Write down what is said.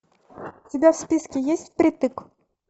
у тебя в списке есть впритык